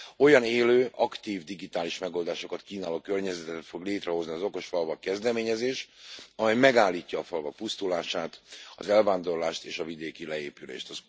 Olyan élő, aktív digitális megoldásokat kínáló környezetet fog létrehozni az Okos Falvak kezdeményezés, amely megállítja a falvak pusztulását, az elvándorlást és a vidéki leépülést.